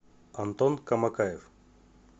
антон камакаев